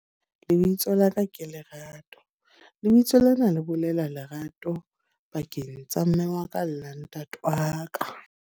Lebitso la ka ke lerato. Lebitso lena le bolela lerato pakeng tsa mme wa ka la ntate wa ka.